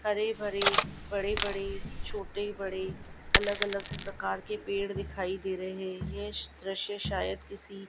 हरे भरी बड़े बड़ी छोटे बड़े अलग अलग प्रकार के पेड़ दिखाई दे रहे है ये श दृश्य शायद किसी--